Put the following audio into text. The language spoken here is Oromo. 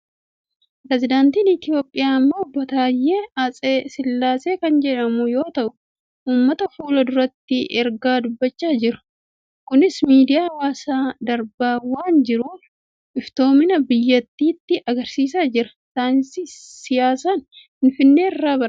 Pireesidaantii Itoophiyaa ammaa Obbo Taayye Atse Sillaasee kan jedhaman yoo ta'u, uummata fuula duratti ergaa dubbachaa jiru. Kunis miidiyaa hawaasaan darbaa waan jiruuf, iftoominaa biyyattiitti argisiisaa jira. Saayinsii siyaasaan Finfinnee irraa barate.